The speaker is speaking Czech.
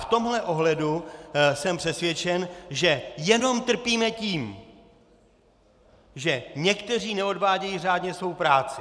V tomhle ohledu jsem přesvědčen, že jenom trpíme tím, že někteří neodvádějí řádně svou práci.